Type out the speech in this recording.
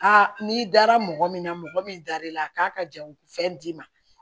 n'i dara mɔgɔ min na mɔgɔ min dar'i la a k'a ka ja fɛn d'i ma